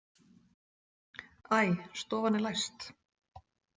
Æ, stofan er læst.